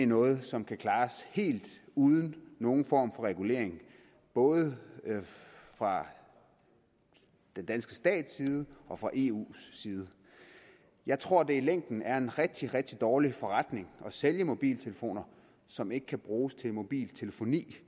noget som kan klares helt uden nogen form for regulering både fra den danske stats side og fra eus side jeg tror det i længden er en rigtig rigtig dårlig forretning at sælge mobiltelefoner som ikke kan bruges til mobiltelefoni